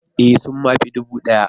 Ee! sun ma fi dubu daya.